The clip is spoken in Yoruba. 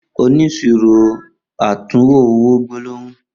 Oniṣiro atunwo owo gbólóhùn.